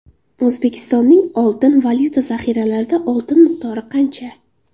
O‘zbekistonning oltin-valyuta zaxiralarida oltin miqdori qancha?.